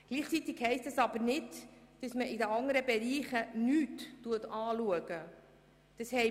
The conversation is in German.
Gleichzeitig heisst das aber nicht, dass die anderen Bereiche nicht betrachtet werden.